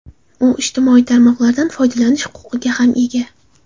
U ijtimoiy tarmoqlardan foydalanish huquqiga ham ega.